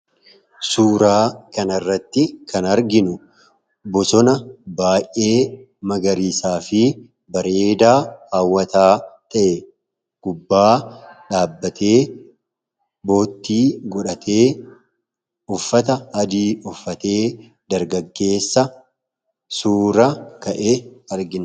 Suuraa kanarratti kan arginu bosona baay'ee magariisaa fi bareedaa hawwataa ta'e gubbaa dhaabbatee, boottii godhatee ,uffata adii uffatee dargaggeessa suura ka'e argina.